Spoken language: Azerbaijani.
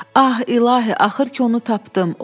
Ah, İlahı, axır ki onu tapdım.